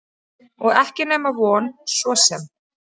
Og ekki nema von svo sem.